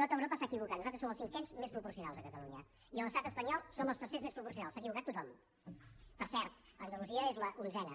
tot europa s’ha equivocat nosaltres som els cinquens més proporcionals a catalunya i a l’estat espanyol som els tercers més proporcionals s’ha equivocat tothom per cert andalusia és l’onzena